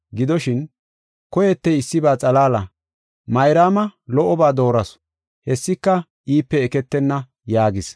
Gidoshin, koyetey issiba xalaala. Mayraama lo77oba doorasu, hessika iipe eketenna” yaagis.